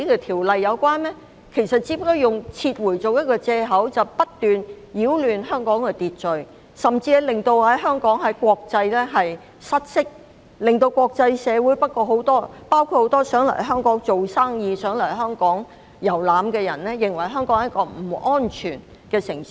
他們其實只是以撤回為借口不斷擾亂香港的秩序，使香港在國際失色，令國際社會上很多想來香港做生意或遊覽的人士認為香港是一個不安全的城市。